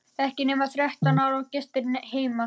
Ekki nema þrettán ára og gestir heima!